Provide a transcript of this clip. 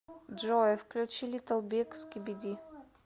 джой включи литтл биг скиби ди